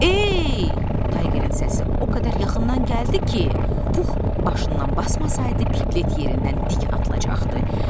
Ey, Tayqerin səsi o qədər yaxından gəldi ki, Pux başından basmasaydı Piqlet yerindən dik atılacaqdı.